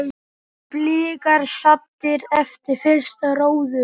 Blikar saddir eftir fyrsta róður?